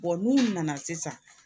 n'u nana sisan